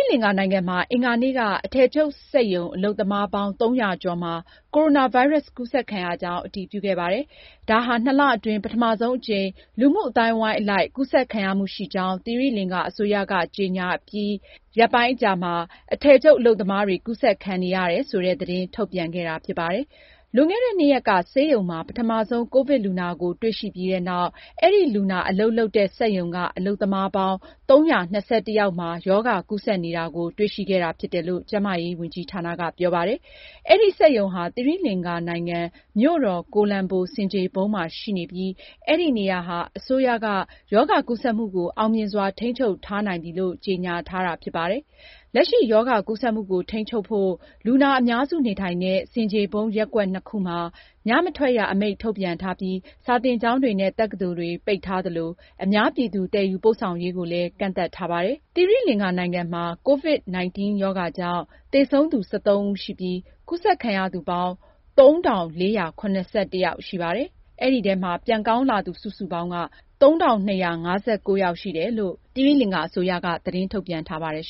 လင်္ကာနိုင်ငံမှာ အင်္ဂါနေ့က အထည်ချုပ်စက်ရုံအလုပ်သမားပေါင်း ၃၀၀ ကျော်မှာ ကိုရိုနာဗိုင်းရပ်စ်ကူးစက်ခံရကြောင်း အတည်ပြုခဲ့ပါတယ်။ ဒါဟာနှစ်လအတွင်း ပထမဆုံးအကြိမ် လူမှုအသိုင်းအဝိုင်းအလိုက် ကူးစက်ခံရမှုရှိကြောင်း သီရိလင်္ကာအစိုးရက ကြေညာအပြီး ရက်အနည်းငယ်အကြာမှာ အခုလို အထည်ချုပ်အလုပ်သမားတွေ ကူးစက်ခံနေရတယ်ဆိုတာ ထုတ်ပြန်ခဲ့တာဖြစ်ပါတယ်။ လွန်ခဲ့ ၂ ရက်က ဆေးရုံမှာ ပထမဆုံး ကိုဗစ်လူနာကို တွေ့ရှိပြီးနောက် အဲဒီလူနာအလုပ်လုပ်တဲ့ စက်ရုံက အလုပ်သမားပေါင်း ၃၂၁ ယောက်မှာ ရောဂါကူးစက်နေတာကို တွေ့ရှိခဲ့တာဖြစ်တယ်လို့ ကျန်းမာရေး ဝန်ကြီးဌာနက ပြောပါတယ်။ အဲဒီစက်ရုံဟာ သီရိလင်္ကာနိုင်ငံ မြို့တော် ကိုလံဘို ဆင်ခြေဖုံးမှာရှိနေပြီး အဲဒီနေရာဟာ အစိုးရက ရောဂါကူးစက်မှုကို အောင်မြင်စွာထိန်းချုပ်ထားနိုင်ပြီလို့ ကြေညာထားတာ ဖြစ်ပါတယ်။ လက်ရှိရောဂါကူးစက်မှုကို ထိန်းချုပ်ဖို့ လူနာအများစုနေထိုင်တဲ့ ဆင်ခြေဖုံးရပ်ကွက် နှစ်ခုမှာ ညမထွက်ရ အမိန့်ထုတ်ပြန်ထားပြီး၊ စာသင်ကျောင်းတွေနဲ့ တက္ကသိုလ်တွေကို ပိတ်ထားပြီး အများပြည်သူ သယ်ယူပို့ဆောင်ရေးကိုလည်း ကန့်သတ်ထားပါတယ်။ သီရိလင်္ကာနိုင်ငံမှာ COVID-19 ရောဂါကြောင့် သေဆုံးသူ ၁၃ ဦးရှိပြီး၊ ကူးစက်ခံရသူပေါင်း ၃,၄၇၁ ယောက်ရှိပြီး ပြန်ကောင်းလာသူ စုစုပေါင်းက ၃၂၅၉ ယောက်ရှိတယ်လို့ သတင်းထုတ်ပြန်ထားပါတယ်